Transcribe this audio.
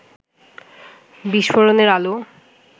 বিস্ফোরণের আলো